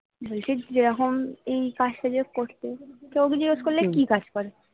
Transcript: বলছি যেরকম এই কাজ টা যে করতে কেউ জিজ্ঞেস করলে কি কাজ করে